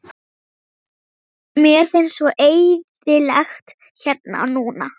Mér finnst svo eyðilegt hérna núna.